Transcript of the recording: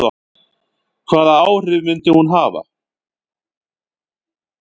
Hvaða áhrif myndi hún hafa?